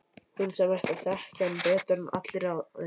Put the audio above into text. Hún sem ætti að þekkja hann betur en allir aðrir.